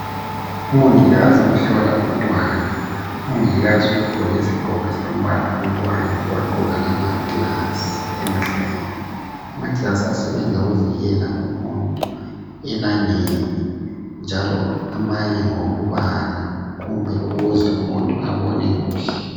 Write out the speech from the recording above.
Umongikazi uhlola umntwana. Umongikazi ugqoke isigqoko esilombala oyiorange wagqoka lamaglass emehlweni. Amaglass asebenza ukuvikela umuntu elangeni njalo amanye ngawokubala kumbe ukuze umuntu abone kuhle.